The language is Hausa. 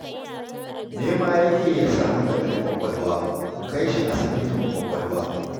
Nema yake ya samu taɓin ƙwaƙwalwa, ku kai shi asibitin ƙwaƙwalwa